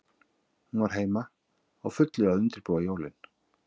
Hún var heima, á fullu að undirbúa jólin.